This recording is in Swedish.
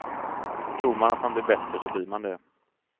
Tror man att man blir bättre så blir man det.